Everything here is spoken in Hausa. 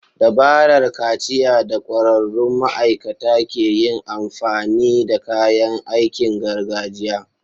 Dabarar kaciya da ƙwararrun ma'aikata ke yin amfani da kayan aikin gargajiya.